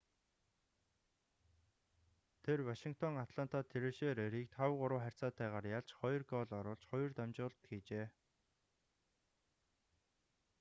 тэр вашингтон атланта трэшерерийг 5-3 харьцаатайгаар ялж 2 гоол оруулж 2 дамжуулалт хийжээ